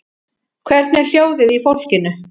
Hvernig er hljóðið í fólkinu?